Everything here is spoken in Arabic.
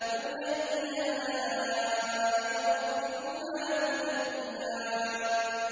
فَبِأَيِّ آلَاءِ رَبِّكُمَا تُكَذِّبَانِ